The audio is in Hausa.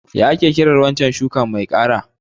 What is that stem crop called?